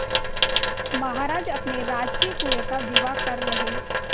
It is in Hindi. महाराज अपने राजकीय कुएं का विवाह कर रहे